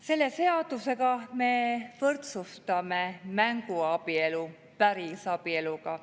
Selle seaduse me võrdsustame mänguabielu päris abieluga.